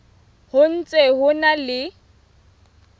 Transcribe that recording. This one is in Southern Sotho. ho ntse ho na le